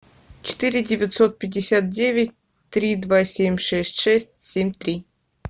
четыре девятьсот пятьдесят девять три два семь шесть шесть семь три